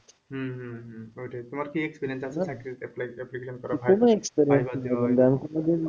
হম হম হম ওইটাই তোমার কি experience আছে চাকরির apply এর application